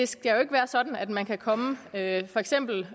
skal være sådan at man kan komme med for eksempel